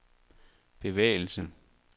bevægelse